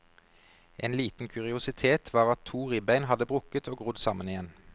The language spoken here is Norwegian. En liten kuriositet var at to ribbein hadde brukket og grodd sammen igjen.